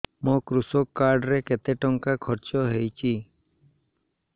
ମୋ କୃଷକ କାର୍ଡ ରେ କେତେ ଟଙ୍କା ଖର୍ଚ୍ଚ ହେଇଚି